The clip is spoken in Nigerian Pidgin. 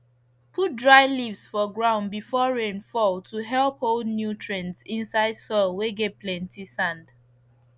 put dry leaves for ground before rain fall to help hold nutrients inside soil whey get plenty sand